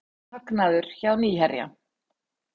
Hagnaður hjá Nýherja